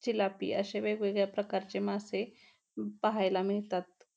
चिलापी अशे वेगवेगळ्या प्रकारचे मासे पाहायला मिळतात.